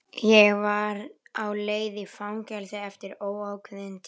Ég var á leið í fangelsi eftir óákveðinn tíma.